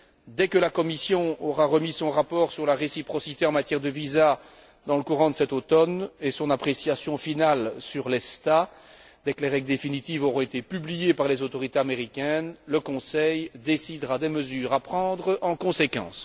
Dès que la Commission aura remis son rapport sur la réciprocité en matière de visas, dans le courant de cet automne, et son appréciation finale sur l'ESTA, dès que les règles définitives auront été publiées par les autorités américaines, le Conseil décidera des mesures à prendre en conséquence.